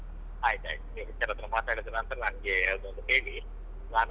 ಹಾ ಆಯ್ತ್ ಆಯ್ತ್ ನೀವ್ HR ಹತ್ರ ಮಾತಾಡಿದ್ನನ್ತ್ರ ನನ್ಗೆ ಅದೊಂದು ಹೇಳಿ ನಾನು ಅವ್ರಿಗೆ.